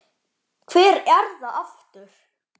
Hver er það aftur?